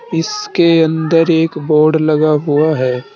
इसके अंदर एक बोर्ड लगा हुआ है।